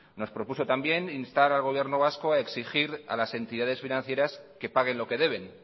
nos propuso también instar al gobierno vasco a exigir a las entidades financieras que paguen lo que deben